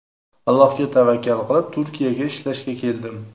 Allohga tavakkal qilib, Turkiyaga ishlashga keldim.